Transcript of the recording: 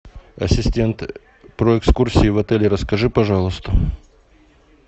ассистент про экскурсии в отеле расскажи пожалуйста